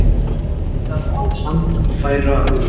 Leitað að handfærarúllum